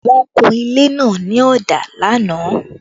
The painting of the building was done yesterday